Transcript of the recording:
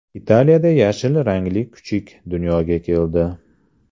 Italiyada yashil rangli kuchuk dunyoga keldi .